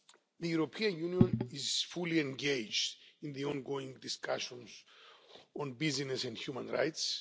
The European Union is fully engaged in the ongoing discussions on Business and Human Rights.